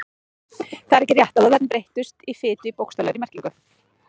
Það er ekki rétt að vöðvarnir breytist í fitu í bókstaflegri merkingu.